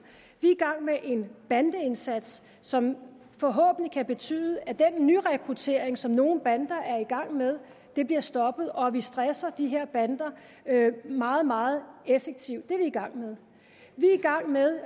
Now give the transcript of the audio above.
vi er i gang med en bandeindsats som forhåbentlig kan betyde at den nyrekruttering som nogle bander er i gang med bliver stoppet og at vi stresser de her bander meget meget effektivt det er vi i gang med med